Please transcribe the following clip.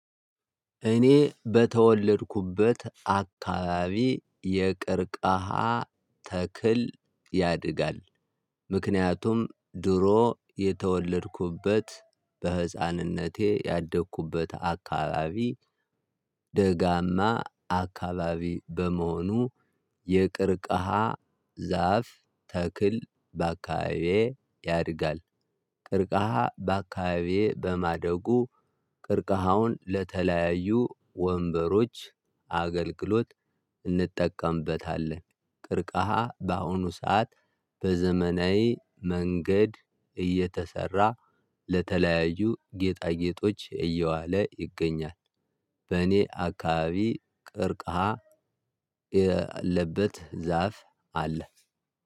እኔ በተወለድኩበት አካባቢ የቀርቃሃ ተክል ያድጋል። ምክንያቱም ድሮ የተወለድኩበት በህፃንነቴ ያደኩበት አካባቢ። ደጋማ አካባቢ በመሆኑ የቀርቀሃ ዛፍ ተክል በአካባቢዬ ያድጋል። ቀርቀሃ በአካባቢዬ በማደጉ ቀርቀሃውን ለተለያዩ ወንበሮች አገልግሎት እንጠቀምበታለን። ቀርቀሃ በአሁኑ ሰዓት በዘመናዊ መንገድ እየተሰራ ለተለያዩ ጌጣጌጦች እየዋለ ይገኛል። በእኔ አካባቢ ቀርቀሃ ያለበት ዛፍ አለ።